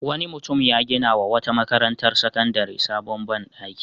Wani mutum ya ginawa wata makarantar sakandare sabon ban ɗaki.